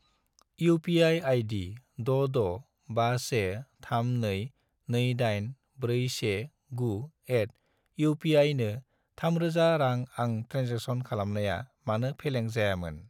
UPI. आइदि 66513228419@upi नो 3000 रां आं ट्रेन्जेक्सन खालामनाया मानो फेलें जायामोन?